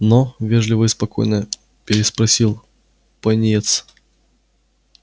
но вежливо и спокойно переспросил пониетс